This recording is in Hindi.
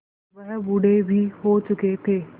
वह बूढ़े भी हो चुके थे